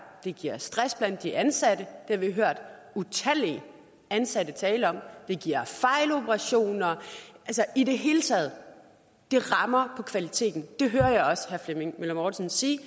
det giver stress blandt de ansatte det har vi hørt utallige ansatte tale om det giver fejloperationer og i det hele taget rammer kvaliteten det hører jeg også herre flemming møller mortensen sige